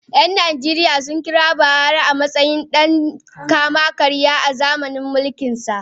‘Yan Najeriya sun kira Buhari a matsayin dan kama-karya a zamanin mulkinsa.